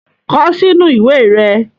Kọ sinu iwe rẹ